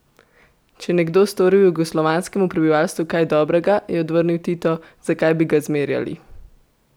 Če je nekdo storil jugoslovanskemu prebivalstvu kaj dobrega, je odvrnil Tito, zakaj bi ga zmerjali?